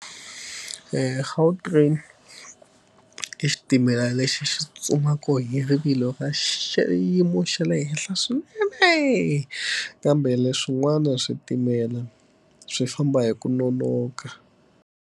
Gautrain, i xitimela lexi xi tsutsumaka hi rivilo ka xiyimo xa le henhla swinene kambe leswin'wana switimela swi famba hi ku nonoka.